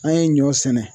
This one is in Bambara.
An ye ɲɔ sɛnɛ